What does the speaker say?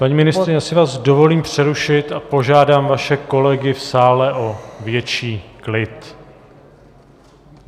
Paní ministryně, já si vás dovolím přerušit a požádám vaše kolegy v sále o větší klid.